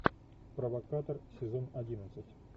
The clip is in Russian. провокатор сезон одиннадцать